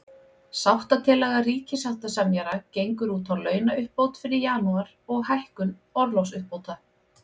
Sáttatillaga ríkissáttasemjara gengur út á launauppbót fyrir janúar, og hækkun orlofsuppbóta.